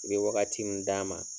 I bɛ wagati min d'a ma.